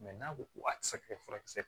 n'a ko ko a ti se ka kɛ furakisɛ